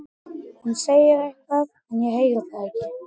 Hún segir eitthvað en ég heyri það ekki.